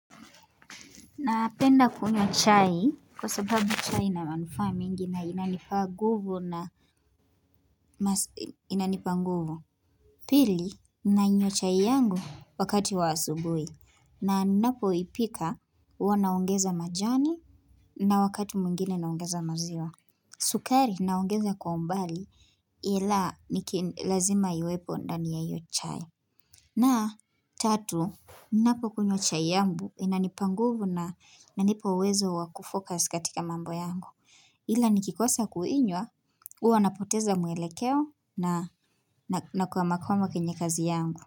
Napenda kunywa chai kwa sababu chai ina manufaa mingi na inanipa nguvu na inanipa nguvu. Pili nainywa chai yangu wakati wa asubuhi na ninapoipika huwa naongeza majani na wakati mwingine naongeza maziwa. Sukari naongeza kwa mbali ila niki lazima iwepo ndani ya hiyo chai. Na tatu, ninapo kunywa chai yangu, inanipa nguvu na inanipa uwezo wa kufocus katika mambo yangu. Ila nikikosa kuinywa, uwa napoteza mwelekeo na nakwamakwamankwenye kazi yangu.